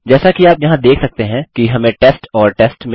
जैसा कि आप यहाँ देख सकते हैं कि हमें टेस्ट और टेस्ट मिला